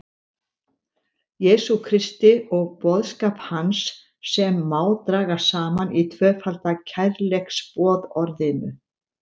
Jesú Kristi og boðskap hans sem má draga saman í tvöfalda kærleiksboðorðinu.